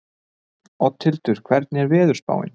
Oddhildur, hvernig er veðurspáin?